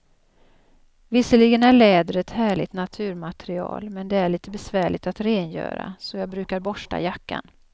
Visserligen är läder ett härligt naturmaterial, men det är lite besvärligt att rengöra, så jag brukar borsta jackan.